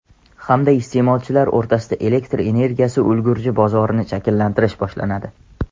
hamda iste’molchilar o‘rtasida elektr energiyasi ulgurji bozorini shakllantirish boshlanadi.